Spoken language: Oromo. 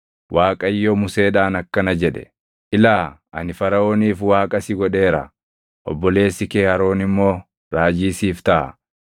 Waaqayyo Museedhaan akkana jedhe; “Ilaa, ani Faraʼooniif waaqa si godheera; obboleessi kee Aroon immoo raajii siif taʼa.